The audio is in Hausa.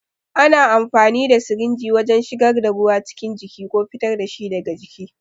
Ana amfani da sirinji wajen shigar da ruwa cikin jiki ko fitar da shi daga jiki.